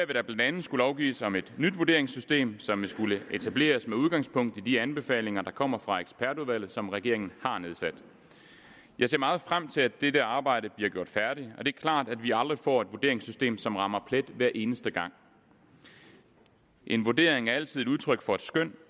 der blandt andet skulle lovgives om et nyt vurderingssystem som vil skulle etableres med udgangspunkt i de anbefalinger der kommer fra ekspertudvalget som regeringen har nedsat jeg ser meget frem til at dette arbejde bliver gjort færdigt det er klart at vi aldrig får et vurderingssystem som rammer plet hver eneste gang en vurdering er altid udtryk for et skøn